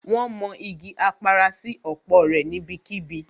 Wón mọ igi Apara sí òpó rẹ̀ níbí kíbi